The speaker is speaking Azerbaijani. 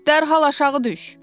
Dərhal aşağı düş!